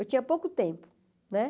Eu tinha pouco tempo né.